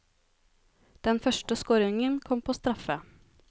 Den første scoringen kom på straffe.